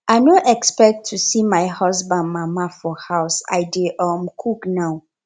i no expect to see my husband mama for house i dey um cook now